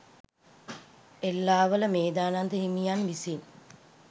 එල්ලාවල මේධානන්ද හිමියන් විසින්